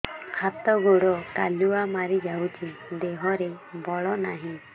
ହାତ ଗୋଡ଼ କାଲୁଆ ମାରି ଯାଉଛି ଦେହରେ ବଳ ନାହିଁ